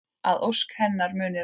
Að ósk hennar muni rætast.